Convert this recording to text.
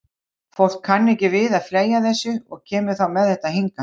Fólk kann ekki við að fleygja þessu og kemur þá með þetta hingað.